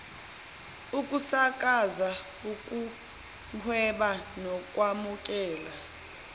ukusakaza ukuhweba nokwamukela